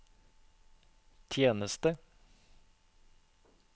tjeneste